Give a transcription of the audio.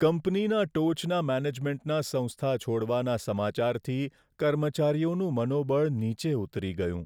કંપનીના ટોચના મેનેજમેન્ટના સંસ્થા છોડવાના સમાચારથી કર્મચારીઓનું મનોબળ નીચે ઉતરી ગયું.